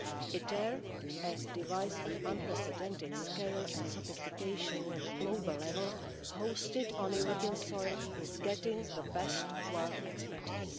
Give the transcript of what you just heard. ITER, a device of unprecedented scale and sophistication at global level, hosted on European soil, is getting the best world expertise.